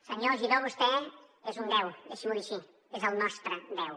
senyor giró vostè és un deu deixi m’ho dir així és el nostre deu